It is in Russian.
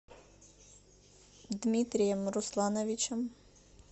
дмитрием руслановичем